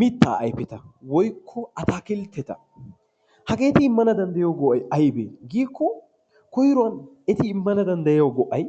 Mittaa ayfeta woykko ataakiltteta hageeti immana dandayiyo go"ay ayibee giikko koyruwan eti immana dandayiyo go"ay